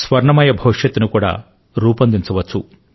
స్వర్ణమయ భవిష్యత్తును కూడా రూపొందించవచ్చు